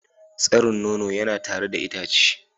Tsarin nono yana tare da itace.